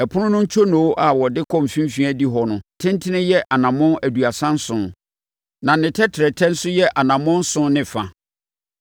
(Ɛpono no ntwonoo a wɔde kɔ mfimfini adihɔ no tentene yɛ anammɔn aduasa nson na ne tɛtrɛtɛ nso yɛ anammɔn nson ne fa.)